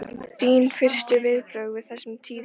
Þín fyrstu viðbrögð við þessum tíðindum?